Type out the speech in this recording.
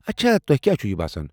اچھا۔ تو٘ہہ کیٚاز چُھو یہ باسان؟